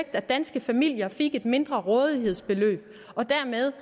at danske familier fik et mindre rådighedsbeløb og dermed